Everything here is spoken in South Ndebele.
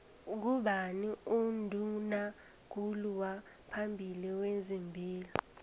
ngubani unduna kulu waphambili wezepilo